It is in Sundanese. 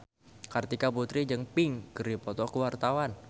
Kartika Putri jeung Pink keur dipoto ku wartawan